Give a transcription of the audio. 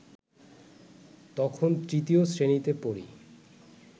তখন তৃতীয় শ্রেণীতে পড়ি